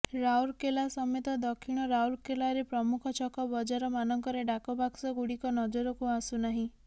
ରାଉରକେଲା ସମେତ ଦକ୍ଷିଣ ରାଉରକେଲାରେ ପ୍ରମୁଖ ଛକ ବଜାର ମାନଙ୍କରେ ଡାକ ବାକ୍ସ ଗୁଡ଼ିକ ନଜରକୁ ଆସୁନାହିଁ